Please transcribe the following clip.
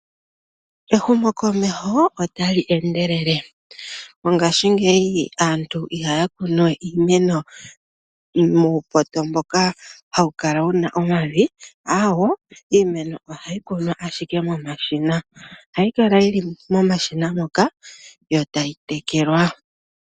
Ehumokomeho otali endelele. Mongashingeyi aantu ihaya kunu we iimeno muupoto mboka hawu kala wuna omavi, aawo, iimeno ohayi kunwa ashike momashina, ohayi kala yili momashina moka yo tayi tekelwa.